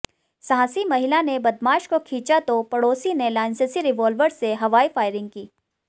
साहसी महिला ने बदमाश को खींचा तो पड़ोसी ने लाइसेंसी रिवॉल्वर से हवाई फायरिंग की